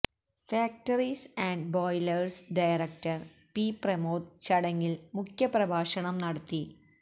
factories and boilers director P Pramod ചടങ്ങിൽ മുഖ്യപ്രഭാഷണം നടത്തി